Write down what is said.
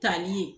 Tali ye